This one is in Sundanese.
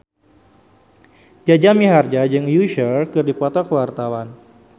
Jaja Mihardja jeung Usher keur dipoto ku wartawan